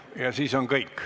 Ja siis on kõik.